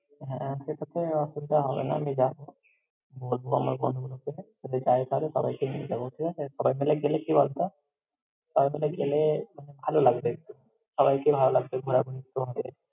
হ্যাঁ, সেটাতে অসুবিধা হবে না, আমি যাবো। বলব আমার বন্ধুগুলোকে যদি যায় তাহলে, সবাইকে নিয়ে যাবো, ঠিকআছে! সবাই মিলে গেলে কি বলত সবাই মিলে গেলে আহ ভালো লাগবে একটু। সবাইকে ভালো লাগবে ঘোরাঘুরি করলে।